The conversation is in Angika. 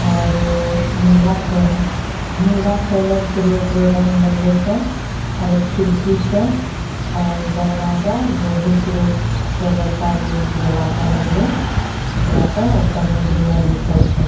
आरो अअ नीला क नीला कलर केरो एकरो रंग लगलो छे आरो खिड़की छे आरो दरवाजा लोहे केरो छै बड़का गो दरवाजा लगलो एकरा पर अ ऊपर म बेनर लिखल छै।